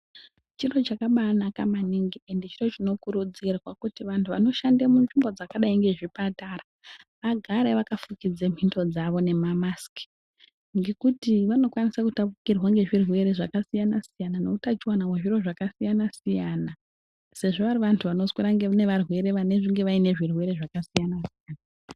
Chiro chakabaanaka maningi ende chiro chinokurudzirwa kuti vantu vanoshande munzvimbo dzakadai ngezvipatara vagare vakafukidze mbino dzavo nemamasiki. Ngekuti vanokwanisa kutapukirwa ngezvirwere zvakasiyana-siyana nehutachiwana hwezviro zvakasiyana-siyana sezvo vari vantu vanoswera nevarwere vanenge vaine zvirwere zvakasiyana.